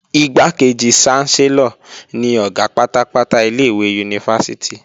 Igbákejì ṣánsẹ́lọ̀ ni Ọ̀gá pátápátá ilé-ìwé yunifásítì